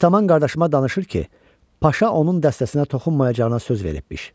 Ataman qardaşıma danışır ki, paşa onun dəstəsinə toxunmayacağına söz veribmiş.